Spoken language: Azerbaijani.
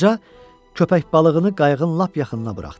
Qoca köpək balığını qayığın lap yaxınına buraxdı.